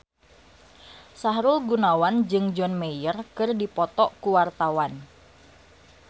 Sahrul Gunawan jeung John Mayer keur dipoto ku wartawan